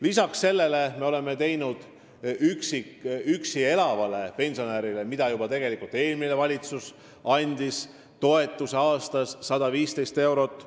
Lisaks sellele oleme loonud toetuse üksi elavale pensionärile – seda andis tegelikult juba eelmine valitsus –, mis on 115 eurot aastas.